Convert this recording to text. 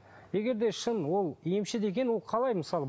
егер де шын ол емші деген ол қалай мысалы